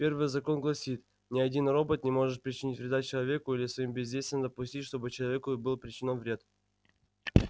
первый закон гласит ни один робот не может причинить вреда человеку или своим бездействием допустить чтобы человеку был причинён вред